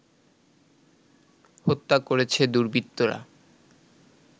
হত্যা করেছে দুর্বৃত্তরা